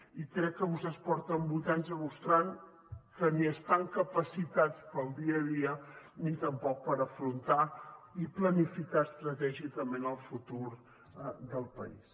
i crec que vostès porten vuit anys demostrant que ni estan capacitats per al dia a dia ni tampoc per afrontar i planificar estratègicament el futur del país